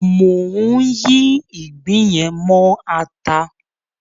Mò ń yí ìgbín yẹn mọ ata.